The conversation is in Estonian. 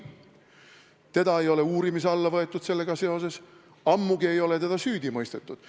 Teda ei ole sellega seoses uurimise alla võetud, ammugi ei ole teda süüdi mõistetud.